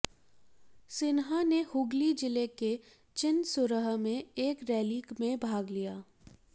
सिन्हा ने हुगली जिले के चिनसुरह में एक रैली में भाग लिया